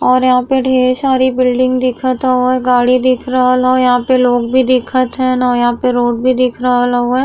और यहाँँ पे ढ़ेर सारी बिल्डिंग दिखत हओ गाड़ी दिख रहल हो यहाँँ पे लोग भी दिखत हैन अउ यहाँँ पे रोड भी दिख रहल हउवे।